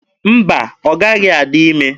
Mba, ọ gaghị adị ime.